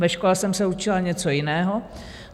Ve škole jsem se učila něco jiného.